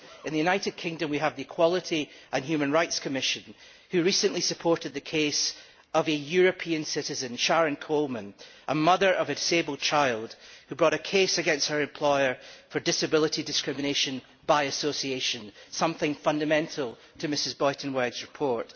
In the United Kingdom we have the Equality and Human Rights Commission, who recently supported the case of a European citizen Sharon Coleman, the mother of a disabled child who brought a case against her employer for disability discrimination by association, something fundamental to Mrs Buitenweg's report.